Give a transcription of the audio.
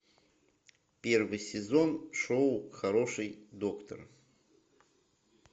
первый сезон шоу хороший доктор